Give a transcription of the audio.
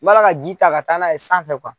Wala ka ji ta ka taa n'a ye sanfɛ